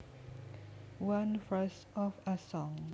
One verse of a song